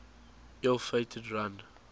ill fated run